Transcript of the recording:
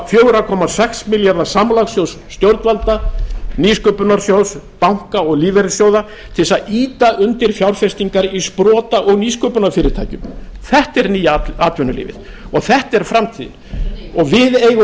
fjögurra sex milljarða samlagssjóðs stjórnvalda n nýsköpunarsjóð banka og lífeyrissjóða til þess að ýta undir fjárfestingar í sprota og nýsköpunarfyrirtækjum þetta er nýja atvinnulífi og þetta er framtíð við eigum